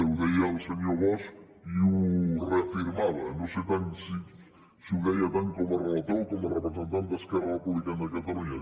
ho deia el senyor bosch i ho reafirmava no sé si ho deia tant com a relator o com a representant d’esquerra republicana de catalunya